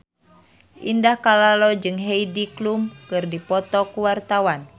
Indah Kalalo jeung Heidi Klum keur dipoto ku wartawan